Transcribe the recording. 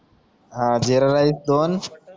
हा जीरा राइस दोन